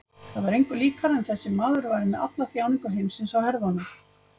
Það var engu líkara en þessi maður væri með alla þjáningu heimsins á herðunum.